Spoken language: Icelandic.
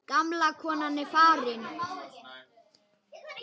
Gamla konan er farin.